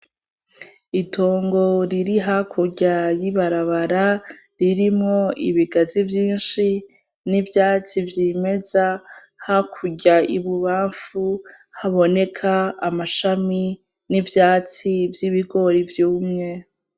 Itongo riri hakurya y'ibarabara ririmwo ibigazi vyinshi ,n'ivyatsi vyimeza hakurya ibubamfu haboneka amashami n'ivyatsi vy'ibigori vyumye.